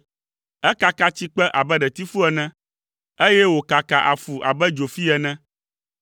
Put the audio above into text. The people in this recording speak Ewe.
Ekaka tsikpe abe ɖetifu ene, eye wòkaka afu abe dzofi ene.